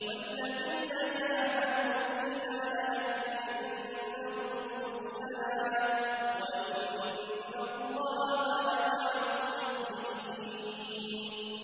وَالَّذِينَ جَاهَدُوا فِينَا لَنَهْدِيَنَّهُمْ سُبُلَنَا ۚ وَإِنَّ اللَّهَ لَمَعَ الْمُحْسِنِينَ